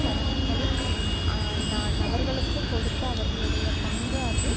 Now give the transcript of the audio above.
தகனங்களில் நான் அவர்களுக்கு கொடுத்த அவர்களுடைய பங்கு அது